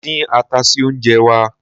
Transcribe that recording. Mo dín ata sí oúnjẹ wá.